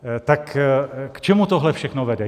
Tak k čemu tohle všechno vede?